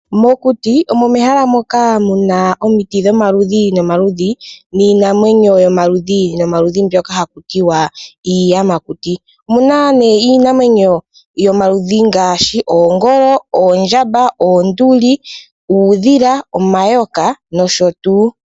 Mokuti omo mehala moka muna omiti dhomaludhi nomaludhi niinamwenyo yomaludhi mbyoka hakutiwa iiyamakuti. Omuna nee iinamwenyo yomaludhi ngaashi, oongolo, oondjamba, oonduli, uudhila, omayoka nosho tuu.